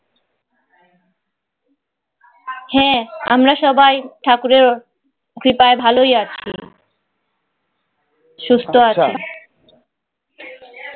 হ্যাঁ আমরা সবাই ঠাকুরের কৃপায় ভালই আছি সুস্থ আছি